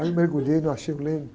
Aí eu mergulhei, não achei o leme.